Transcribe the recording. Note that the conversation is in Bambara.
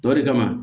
Dɔ de kama